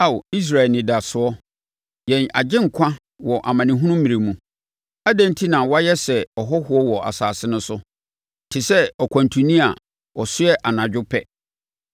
Ao, Israel Anidasoɔ, yɛn Agyenkwa wɔ amanehunu mmerɛ mu, adɛn enti na woayɛ sɛ ɔhɔhoɔ wɔ asase no so, te sɛ ɔkwantuni a ɔsoɛ anadwo pɛ?